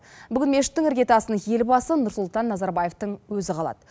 бүгін мешіттің іргетасын елбасы нұрсұлтан назарбаевтың өзі қалады